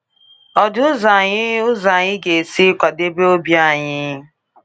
Ọ dị ụzọ anyị ụzọ anyị ga-esi kwadebe obi anyị?